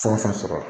Fɛn o fɛn sɔrɔ